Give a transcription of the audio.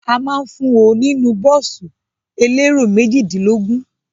A ma ń fún ọ nínú bọ́ọ̀sì elérò méjìdínlógún.